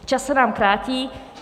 Čas se nám krátí.